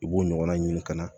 I b'o ɲɔgɔnna ɲini ka na